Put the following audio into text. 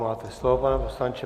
Máte slovo, pane poslanče.